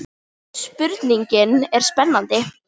Spurningin er spennandi.